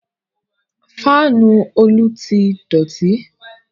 Fáànù Olú ti dọ̀ti